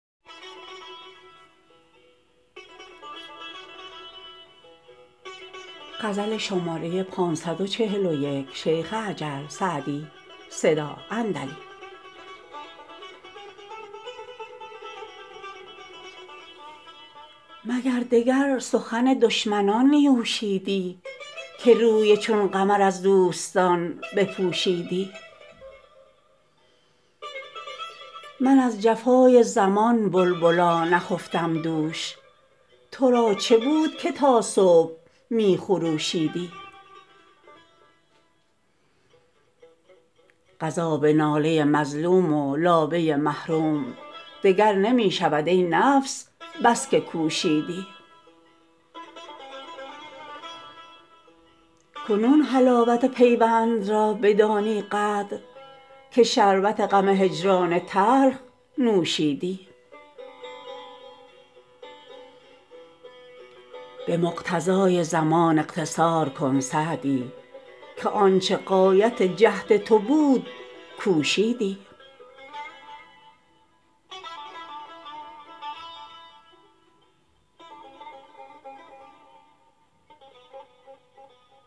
مگر دگر سخن دشمنان نیوشیدی که روی چون قمر از دوستان بپوشیدی من از جفای زمان بلبلا نخفتم دوش تو را چه بود که تا صبح می خروشیدی قضا به ناله مظلوم و لابه محروم دگر نمی شود ای نفس بس که کوشیدی کنون حلاوت پیوند را بدانی قدر که شربت غم هجران تلخ نوشیدی به مقتضای زمان اقتصار کن سعدی که آن چه غایت جهد تو بود کوشیدی